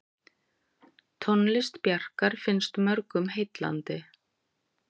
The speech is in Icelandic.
Tónlist Bjarkar finnst mörgum heillandi.